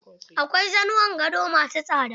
Akwai zanuwan gado ma su tsada.